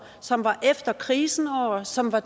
som var efter krisen år som var